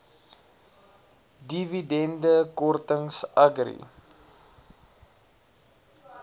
dividende kortings agri